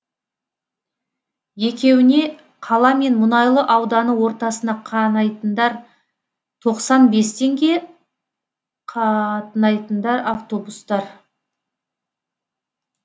екеуіне қала мен мұнайлы ауданы ортасына қанайтындар тоқсан бес теңге қатынайтындар автобустар